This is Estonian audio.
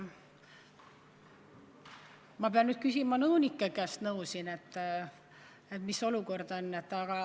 Ma pean küsima nõunike käest nõu, mis olukord on.